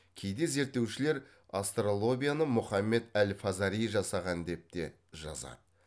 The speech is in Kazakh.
кейде зерттеушілер астролябияны мұхаммед әл фазари жасаған деп те жазады